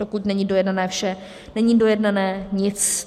Dokud není dojednané vše, není dojednané nic.